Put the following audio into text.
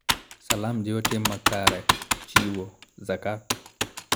Salam jiwo tim makare, chiwo (zakat),